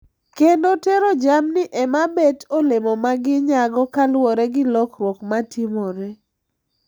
Kendo tero jamni ema bet olemo ma ginyago kaluwore gi lalruok matimore.